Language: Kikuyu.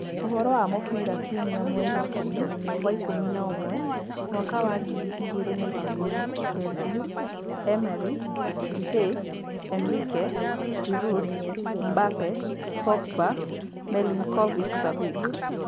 Ũhorō wa mũbira kiumia mweri ikũmi wa-ikũmi na ũmwe Mwaka wa ngiri igĩrĩ na ikũmi na kenda: Emery, Depay, Enrique, Giroud, Mbappé, Pogba, Milinkovic-Savic